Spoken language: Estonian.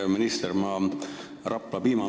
Hea minister!